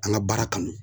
An ka baara kanu